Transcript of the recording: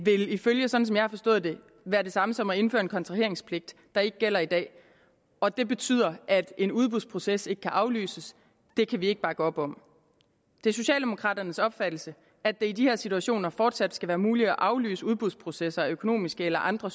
være det samme som at indføre en kontraheringspligt der ikke gælder i dag og det betyder at en udbudsproces ikke kan aflyses det kan vi ikke bakke op om det er socialdemokraternes opfattelse at det i de her situationer fortsat skal være muligt at aflyse udbudsprocesser af økonomiske eller andre